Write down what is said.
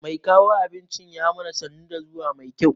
Mai kawo abincin ya mana sannu da zuwa mai kyau.